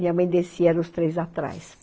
Minha mãe descia, eram os três atrás.